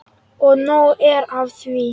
Og nóg er af því.